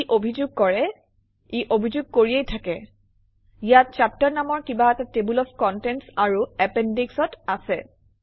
ই অভিযোগ কৰে ই অভিযোগ কৰিয়েই থাকে ইয়াত চেপ্টাৰ নামৰ কিবা এটা টেবল অফ কণ্টেণ্টছ আৰু appendix অত আছে